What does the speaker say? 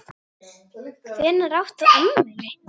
Hvenær átt þú afmæli?